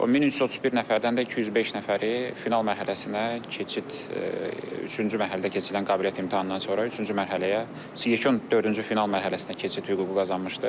O 1331 nəfərdən də 205 nəfəri final mərhələsinə keçid üçüncü mərhələdə keçirilən qabiliyyət imtahanından sonra üçüncü mərhələyə yekun dördüncü final mərhələsinə keçid hüququ qazanmışdır.